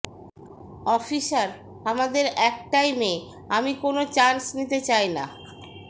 officer আমাদের একটাই মেয়ে আমি কোনো চান্স নিতে চাই না